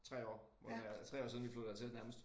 3 år må det være altså 3 år siden vi flyttede hertil næmest